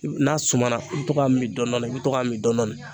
N n'a sumana i be to k'a min dɔndɔni i be to k'a min dɔndɔni